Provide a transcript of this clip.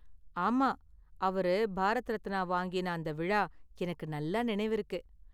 ஆமா, அவரு பாரத் ரத்னா வாங்கின அந்த விழா எனக்கு நல்லா நெனைவிருக்கு.